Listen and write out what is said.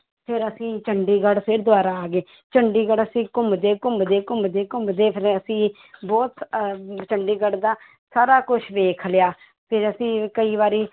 ਫਿਰ ਅਸੀਂ ਚੰਡੀਗੜ੍ਹ ਫਿਰ ਦੁਬਾਰਾ ਆ ਗਏ, ਚੰਡੀਗੜ੍ਹ ਅਸੀਂ ਘੁੰਮਦੇ-ਘੁੰਮਦੇ, ਘੁੰਮਦੇ-ਘੁੰਮਦੇ ਫਿਰ ਅਸੀਂ ਬਹੁਤ ਅਹ ਚੰਡੀਗੜ੍ਹ ਦਾ ਸਾਰਾ ਕੁਛ ਵੇਖ ਲਿਆ ਫਿਰ ਅਸੀਂ ਕਈ ਵਾਰੀ